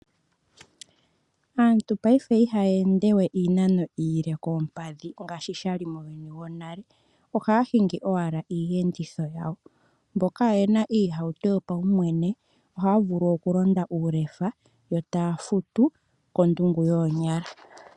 Aantu ngashingeyi ihaya ende we iinano iile koompadhi ngaashi sha li muuyuni wonale ohaya hingi owala iiyenditho yawo. Mboka kaye na iiyenditho yopaumwene ohaya vulu okulonda uulefa yo taya futu kondungu yoonyala.